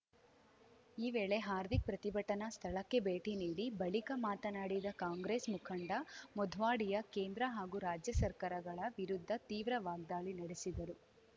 ಈ ವೇಳೆ ಹಾರ್ದಿಕ್‌ ಪ್ರತಿಭಟನಾ ಸ್ಥಳಕ್ಕೆ ಭೇಟಿ ನೀಡಿ ಬಳಿಕ ಮಾತನಾಡಿದ ಕಾಂಗ್ರೆಸ್‌ ಮುಖಂಡ ಮೊಧ್ವಾಡಿಯಾ ಕೇಂದ್ರ ಹಾಗೂ ರಾಜ್ಯ ಸರ್ಕಾರಗಳ ವಿರುದ್ಧ ತೀವ್ರ ವಾಗ್ದಾಳಿ ನಡೆಸಿದರು